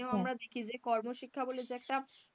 আমরা দেখি যে কর্মশিক্ষা বলে একটা,